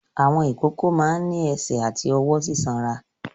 Àwọn ìkókó máa ń ní ẹsẹ̀ àti ọwọ́ sísanra.